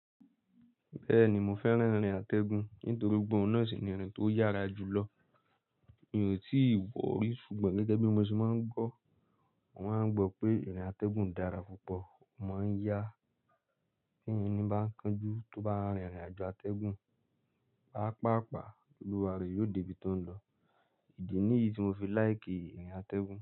Bẹ́ẹ̀ni mo fẹ́ràn ìrìn atẹ́gùn nítorí pé òun náà sì ní ìrìn tó yára jùlọ. Mi ò tí wọ̀ọ́ rí ṣùgbọ́n gẹ́gẹ́ bí mo ṣe máa ń gbọ́, mo máa ń gbọ pé ìrìn atẹ́gùn dára púpọ̀, ó máa ń yá, tí ẹni bá ń kánjú tó bá rin ìrìnàjò àtẹ́gùn, páápààpáá, olúwa rẹ̀ yóò débi tó ń lọ. Ìdí nìyí tí mo fi láìkì ìrìn atẹgun.